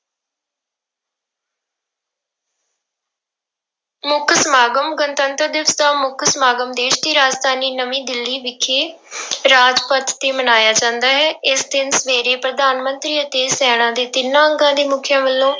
ਮੁੱਖ ਸਮਾਗਮ, ਗਣਤੰਤਰ ਦਿਵਸ ਦਾ ਮੁੱਖ ਸਮਾਗਮ ਦੇਸ ਦੀ ਰਾਜਧਾਨੀ ਨਵੀਂ ਦਿੱਲੀ ਵਿਖੇ ਰਾਜਪਥ ਤੇ ਮਨਾਇਆ ਜਾਂਦਾ ਹੈ, ਇਸ ਦਿਨ ਸਵੇਰੇ ਪ੍ਰਧਾਨ ਮੰਤਰੀ ਅਤੇ ਸੈਨਾ ਦੇ ਤਿੰਨਾਂ ਅੰਗਾਂ ਦੇ ਮੁੱਖੀਆਂ ਵੱਲੋਂ